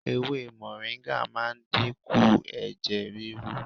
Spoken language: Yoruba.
Moringa máa ń dínkù ẹ̀jẹ̀ rírú.